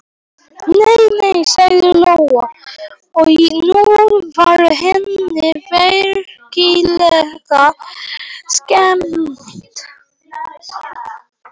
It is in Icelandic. Nei, nei, sagði Lolla og nú var henni virkilega skemmt.